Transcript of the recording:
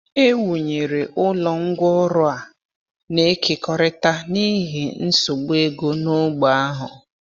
E wụnyere ụlọ ngwá ọrụ a na-ekekọrịta n’ihi nsogbu ego n’ógbè ahụ.